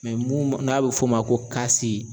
Mɛ mun n'a bɛ f'o ma ko